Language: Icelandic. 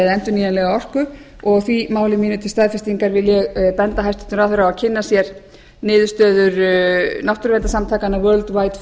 endurnýjanlega orku og því máli mínu til staðfestingar vil ég benda hæstvirtum ráðherra á að kynna sér niðurstöður náttúruverndarsamtakanna